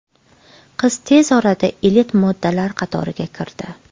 Qiz tez orada elit modellar qatoriga kirdi.